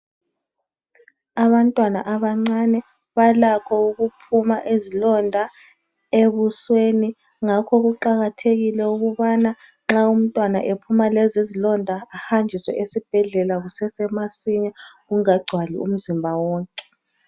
Abantwana abancane balakho ukuphuma izilonda ebusweni njalo kuqakathekile ukuthi uma umntwana ephuma lezizilonda ehanjiswe esibhedlela zingakagcwali umzimba wonke